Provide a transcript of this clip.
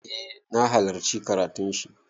Eh na halarci karatun shi.